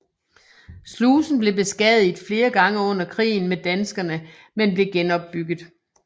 Slusen blev beskadiget flere gange under krigen med danskerne men blev genopbygget